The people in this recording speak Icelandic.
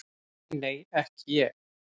Nei, nei, ekki ég.